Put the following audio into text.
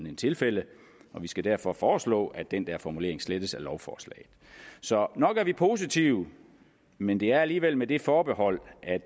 et tilfælde og vi skal derfor foreslå at den formulering slettes af lovforslaget så nok er vi positive men det er alligevel med det forbehold at